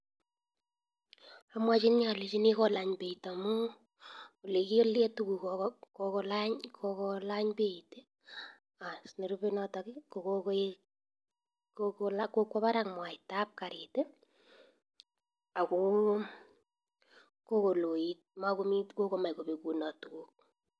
Amwachinii alechinii kolany beit amuu olekilee tuguk kokolany beit nerube as notok kokwa barak mwaita ab karit ako kokomach kopekunot tuguk